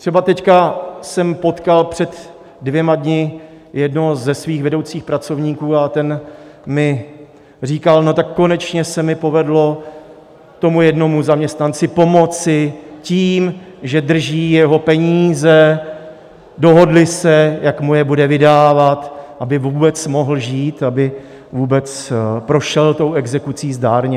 Třeba teď jsem potkal před dvěma dny jednoho ze svých vedoucích pracovníků a ten mi říkal: No, tak konečně se mi povedlo tomu jednomu zaměstnanci pomoci tím, že drží jeho peníze, dohodli se, jak mu je bude vydávat, aby vůbec mohl žít, aby vůbec prošel tou exekucí zdárně.